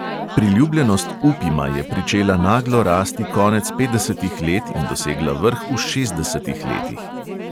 Priljubljenost upima je pričela naglo rasti konec petdesetih let in dosegla vrh v šestdesetih letih.